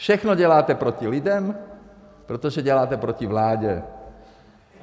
Všechno děláte proti lidem, protože děláte proti vládě.